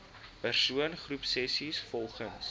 persoon groepsessies volgens